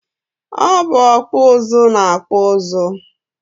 Ọ bụ ọkpụ ụzụ na-akpụ ụzụ